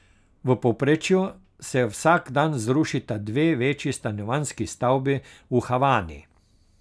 V povprečju se vsak dan zrušita dve večji stanovanjski stavbi v Havani.